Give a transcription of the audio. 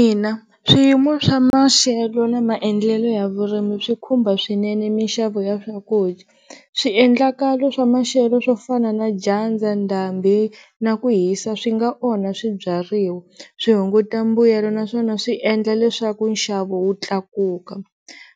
Ina swiyimo swa maxelo na maendlelo ya vurimi swi khumba swinene mixavo ya swakudya, swiendlakalo swa maxelo swo fana na dyandza, ndhambi na ku hisa swi nga onha swibyariwa swi hunguta mbuyelo naswona swi endla leswaku nxavo wu tlakuka.